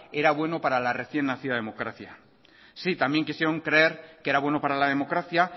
era bueno para la recién nacida democracia sí también quisieron creer que era bueno para la democracia